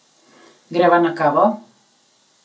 Greva na kavo?